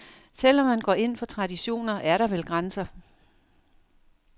Selv om man går ind for traditioner, er der vel grænser.